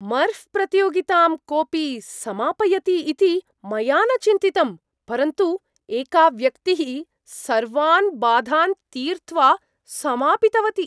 मर्ऴ् प्रतियोगितां कोपि समापयति इति मया न चिन्तितं, परन्तु एका व्यक्तिः सर्वान् बाधान् तीर्त्वा समापितवती।